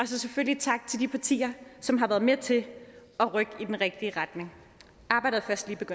så selvfølgelig tak til de partier som har været med til at rykke i den rigtige retning arbejdet